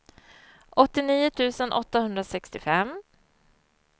åttionio tusen åttahundrasextiofem